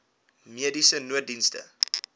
mediese nooddienste